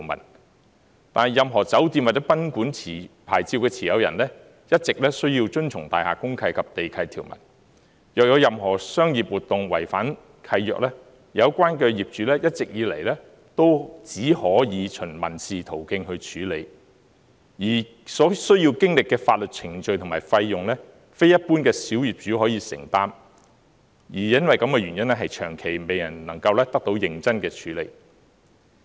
然而，任何酒店或賓館牌照的持有人，一直需要遵從大廈公契及地契條文，若有任何商業活動違反契約，有關業主一直以來只可以循民事途徑去處理，而且所需要的法律程序及費用，非一般小業主可以承擔，因而長期未能夠得到認真處理。